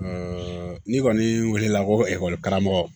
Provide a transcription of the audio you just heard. n'i kɔni weelela ko karamɔgɔ